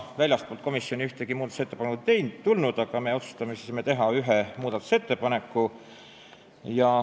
Väljastpoolt komisjoni ühtegi muudatusettepanekut ei tulnud, aga me otsustasime teha ise ühe muudatusettepaneku.